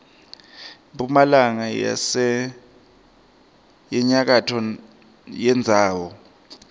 mphumalanga nenyakatfo yendzawo